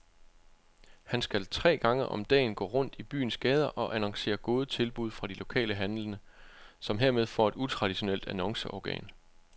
Han skal tre gange om dagen gå rundt i byens gader og annoncere gode tilbud fra de lokale handlende, som hermed får et utraditionelt annonceorgan.